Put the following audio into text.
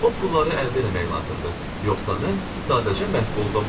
O pulları əldə eləmək lazımdır, yoxsa mən sadəcə məhv oldum.